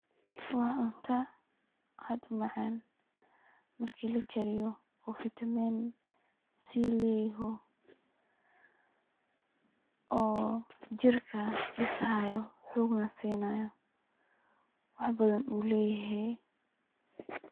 Waa cunta aad u macaan ,marki la kariyo oo vitamin C leyaho, oo jirka dhisaayo, xoogna sinaayo ,waxbadan uu leyahee.